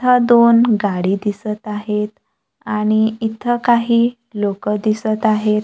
ह्या दोन गाडी दिसत आहेत आणि इथं काही लोकं दिसत आहेत.